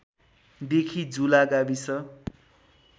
देखि झुला गाविस